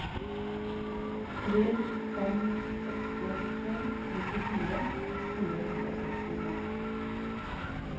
tre fem åtte to nittifire fire hundre og sekstito